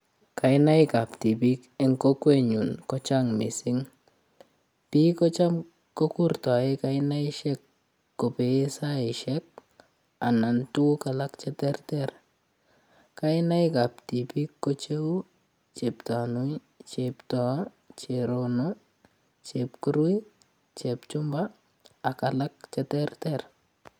Kainaik ab tipiik eng kokwenyun kochang mising piik kocham kokurtoe kaneshek kobee saishek anan ko tukuk alak cheterter kainaik ab tipiik ko cheu Cheptanui, Cheptoo, Cherono, Chepkurui Chepchumba ak alak cheterter.